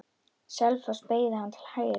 Selfoss beygði hann til hægri.